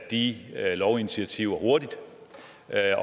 lovinitiativer hurtigt